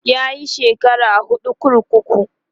yayi shekara huɗu kurkuku